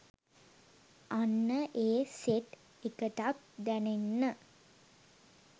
අන්න ඒ සෙට් එකටත් දැනෙන්න